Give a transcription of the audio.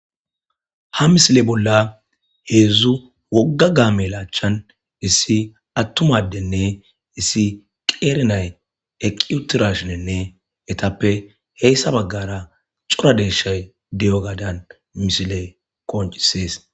Ha misile bolla heedzdzu wogga gaamelaachchan issi attumadenne issi qeerinay eqiutirashinenne etappe heyssa baggara cura deeshay diyo gadan misile koncisees.